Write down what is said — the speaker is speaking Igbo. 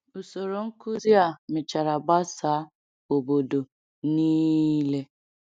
Usoro nkuzi a mechara gbasaa obodo niile.